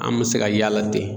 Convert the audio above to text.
An me se ka y'a la ten